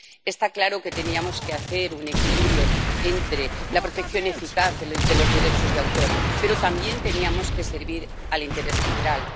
Está claro que teníamos que hacer un equilibrio entre la protección eficaz de los derechos de autor, pero también teníamos que servir al interés general.